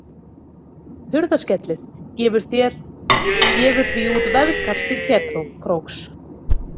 Hurðaskellir gefur því út veðkall til Ketkróks.